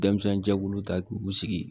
Denmisɛnninjɛkulu ta k'u sigi